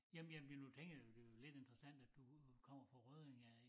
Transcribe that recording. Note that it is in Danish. Jamen jamen ja nu tænker jeg det jo lidt interessant at du kommer fra Rødding af ik